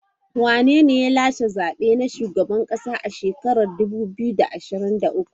Wanene ya lashe zaben shugaban kasa a shekara dubu biyu da ashirin da uku.